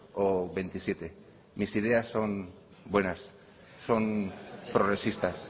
o veintisiete mis ideas son buenas son progresistas